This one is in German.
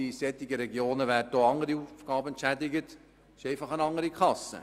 In solchen Regionen werden auch andere Aufgaben entschädigt, aber einfach über eine andere Kasse.